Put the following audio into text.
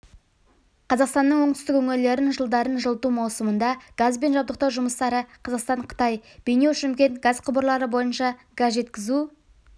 қазақстанның оңтүстік өңірлерін жылдардың жылыту маусымында газбен жабдықтау жұмыстары қазақстан-қытай бейнеу-шымкент газ құбырлары бойынша газ жеткізу